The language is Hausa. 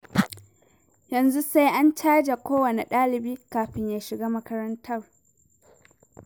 Yanzu sai an caje kowane ɗalibi, kafin ya shiga makarantar.